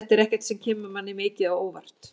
Þetta er ekkert sem kemur manni mikið á óvart.